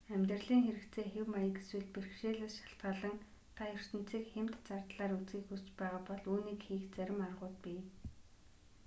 амьдралын хэрэгцээ хэв маяг эсвэл бэрхшээлээс шалтгаалан та ертөнцийг хямд зардлаар үзэхийг хүсч байгаа бол үүнийг хийх зарим аргууд бий